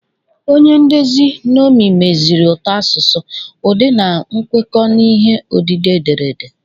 Onye ndezi nnomi meziri ụtọ asụsụ, ụdị na nkwekọ n'ihe odide ederede.